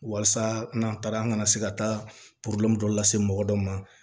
Walasa n'a taara an ka se ka taa dɔ lase mɔgɔ dɔ ma